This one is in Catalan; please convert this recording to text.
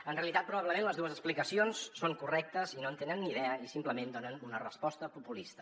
en realitat probablement les dues explicacions són correctes i no en tenen ni idea i simplement donen una resposta populista